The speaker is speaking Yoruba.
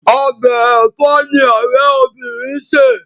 Ọbẹ̀ ẹ̀fọ́ ni ọ̀rẹ́ obinrin sè.